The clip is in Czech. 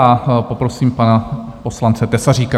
A poprosím pana poslance Tesaříka.